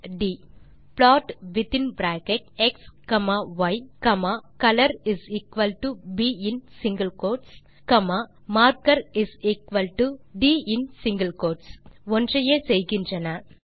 ட் slash DT மற்றும் plot within bracket x comma y comma colorb இன் single quotes comma markerin single quotes d ஒன்றையே செய்கின்றன